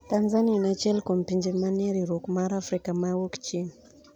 Tanzania en achiel kuom pinje manie riwruok mar Afrika ma Wuok Chieng`